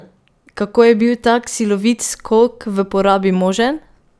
Kako je bil tak silovit skok v porabi možen?